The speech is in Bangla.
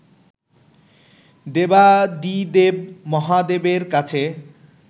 দেবাদিদেব মহাদেবের কাছে